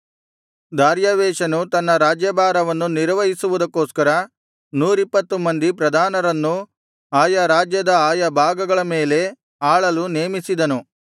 ದಾರ್ಯಾವೆಷನು ತನ್ನ ರಾಜ್ಯಭಾರವನ್ನು ನಿರ್ವಹಿಸುವುದಕ್ಕೋಸ್ಕರ ನೂರಿಪ್ಪತ್ತು ಮಂದಿ ಪ್ರಧಾನರನ್ನು ಆಯಾ ರಾಜ್ಯದ ಆಯಾ ಭಾಗಗಳ ಮೇಲೆ ಆಳಲು ನೇಮಿಸಿದನು